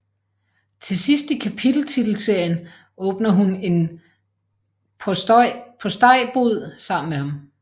Til sidst i kapiteltitelserien åbner hun en postejbod sammen med ham